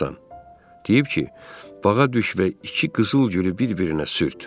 Deyib ki, bağa düş və iki qızıl gülü bir-birinə sürt.